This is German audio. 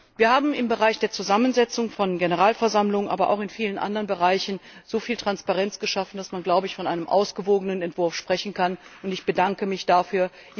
Wir haben im Bereich der Zusammensetzung der Generalversammlung, aber auch in vielen anderen Bereichen so viel Transparenz geschaffen, dass man von einem ausgewogenen Entwurf sprechen kann, und ich bedanke mich dafür.